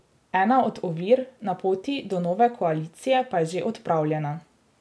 Ena od ovir na poti do nove koalicije pa je že odpravljena.